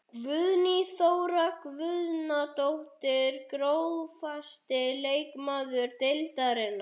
Guðný Þóra Guðnadóttir Grófasti leikmaður deildarinnar?